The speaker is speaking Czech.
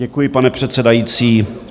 Děkuji, pane předsedající.